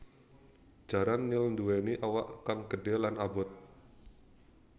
Jaran nil nduwèni awak kang gedhé lan abot